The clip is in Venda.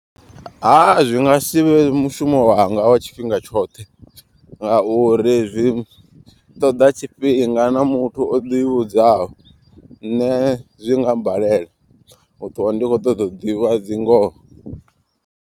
Ha zwi nga si vhe mushumo wanga wa tshifhinga tshoṱhe ngauri zwi ṱoḓa tshifhinga na muthu o ḓivhudzaho. Nṋe zwi nga mbalela u ṱwa ndi kho ṱoḓa u ḓivha dzi ngoho.